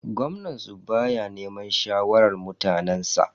Gwamnan su baya neman shawarar mutanensa.